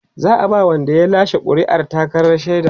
za'a ba Wanda ya lashe ƙuri'ar takardar shaida